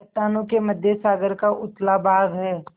चट्टानों के मध्य सागर का उथला भाग है